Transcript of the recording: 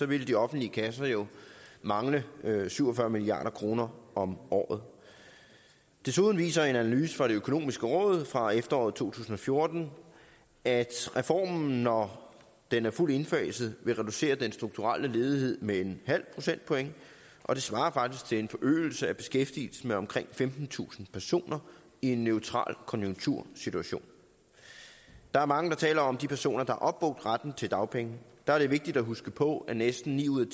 ville de offentlige kasser jo mangle syv og fyrre milliard kroner om året desuden viser en analyse fra det økonomiske råd fra efteråret to tusind og fjorten at reformen når den er fuldt indfaset vil reducere den strukturelle ledighed med en halv procentpoint og det svarer faktisk til en forøgelse af beskæftigelsen med omkring femtentusind personer i en neutral konjunktursituation der er mange der taler om de personer der har opbrugt retten til dagpenge der er det vigtigt at huske på at næsten ni ud